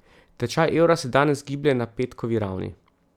Tečaj evra se danes giblje na petkovi ravni.